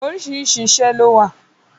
Oríṣiríṣi iṣẹ́ lówà.